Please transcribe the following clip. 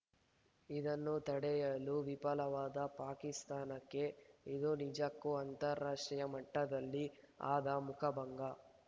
ಇದನ್ನು ತಡೆಯಲು ವಿಫಲವಾದ ಪಾಕಿಸ್ತಾನಕ್ಕೆ ಇದು ನಿಜಕ್ಕೂ ಅಂತಾರಾಷ್ಟ್ರೀಯ ಮಟ್ಟದಲ್ಲಿ ಆದ ಮುಖಭಂಗ